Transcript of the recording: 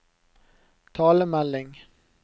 talemelding